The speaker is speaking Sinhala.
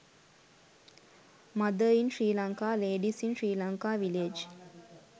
mother in sri lanka ladies in sri lanka village